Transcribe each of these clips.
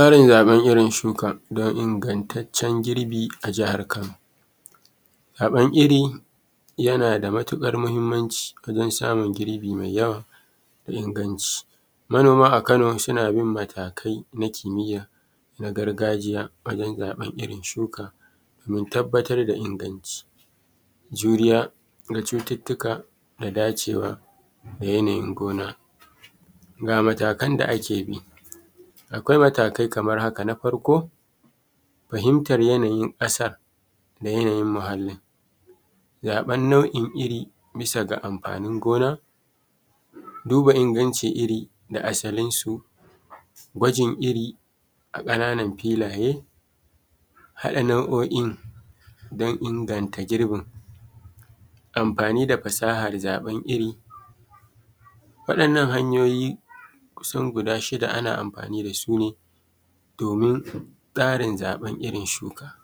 Fara zaɓen irin shukan dan ingantacen girbi a jihar Kano zaɓen iri yana da matuƙar mahimmanci wajen samun girbi mai yawa da inganci, manoma a Kano suna bin matakai na kimiya na gargajiya wajen zaɓen irin shuka domin tabbatar da inganci juriya da cututuka da dacewa da yanayin gona. Ga matakan da ake bi akwai matakai kamar haka: na farko fahimtar yanayin ƙasa da yanayin muhalin zaɓan nau’in iri bisa ga amfanin gona duba inganci iri da asalin su, gwajin iri a ƙananan filaye, haɗa nau’oin dan inganta girbin amfani da fasahar zaɓan iri waɗannan hanyoyi kusan guda shida ana amfani da su ne: domin ƙarin zaɓar irin shuka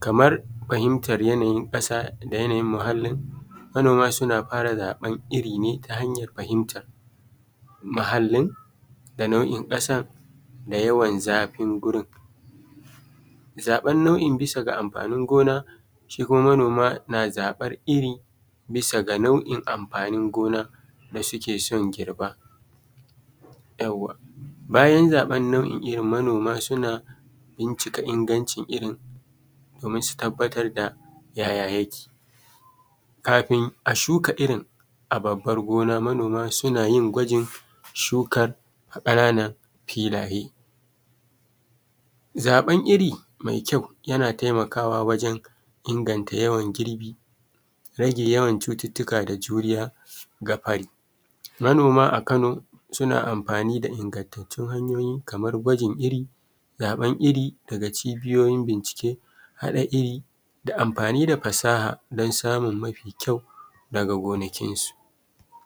kamar fahimtar yanayin ƙasa da yanayin muhalin, manoma suna fara zaɓan iri ne ta hanyar fahimtar muhalin da nau’in ƙasar da yawan zafin wurin zaɓan nau’in irin bisa ga amfanin gona, shi kuma manoma na zabar iri bisa ga nau’in amfanin gona da suke son girba bayan zaɓar nau’in. Manoma suna bincika ingancin irin domin su tabbatar da yaya yake kafin a shuka irin a babbar gona, manoma suna yin gwajin shukar ƙananar filaye, zaɓan iri mai kyau yana taimakawa wajen inganta yawan girbi, rage yawan cutuka da juriya ga fari. Manoma a ƙano suna amfani da ingantatun hanyoyi kamar gwajin iri zaɓen iri daga cibiyoyin bincike haɗa iri da amfani da fasaha dan samun mafi kyau daga gonakinsu.